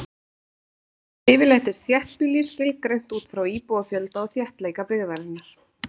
Yfirleitt er þéttbýli skilgreint út frá íbúafjölda og þéttleika byggðarinnar.